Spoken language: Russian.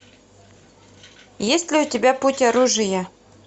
есть ли у тебя путь оружия